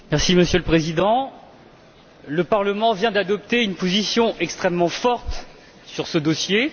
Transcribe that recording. Monsieur le Président, le Parlement vient d'adopter une position extrêmement forte sur ce dossier.